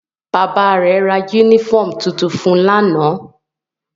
Bàbá rẹ̀ ra yúnífọ̀mù tuntun fun lánàá